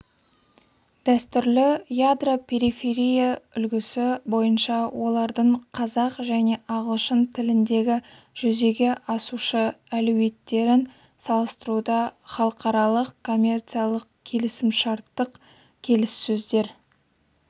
дәстүрлі ядро-периферия үлгісі бойынша олардың қазақ және ағылшын тіліндегі жүзеге асушы әлеуеттерін салыстыруда халықаралық коммерциялық-келісімшарттық келіссөздер